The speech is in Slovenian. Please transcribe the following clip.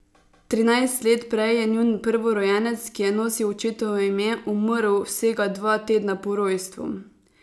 Trinajst let prej je njun prvorojenec, ki je nosil očetovo ime, umrl vsega dva tedna po rojstvu.